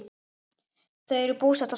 Þau eru búsett á Spáni.